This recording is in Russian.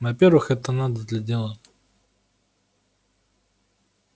во-первых это надо для дела